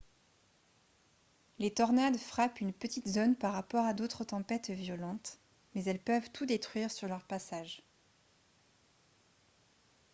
les tornades frappent une petite zone par rapport à d'autres tempêtes violentes mais elles peuvent tout détruire sur leur passage